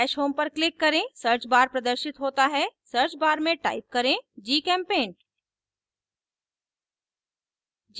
dash home dash home पर click करें search bar प्रदर्शित होता है search bar में type करें gchempaint